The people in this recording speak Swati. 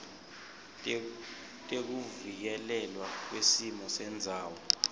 tekuvikelelwa kwesimo sendzawo